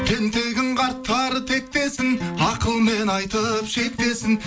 тентегін қарттар тектесін ақылмен айтып шектесін